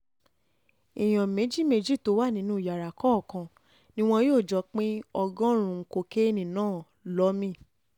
èèyàn méjì méjì tó wà nínú yàrá kọ̀ọ̀kan ni wọn yóò jọ pín ọgọ́rùn-ún kokéènì náà lọ̀ mí